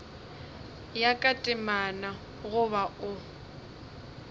ya ka temana goba o